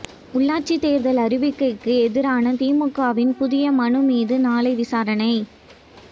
உள்ளாட்சித் தோ்தல் அறிவிக்கைக்கு எதிரான திமுகவின் புதிய மனு மீது நாளை விசாரணை